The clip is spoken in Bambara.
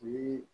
Ni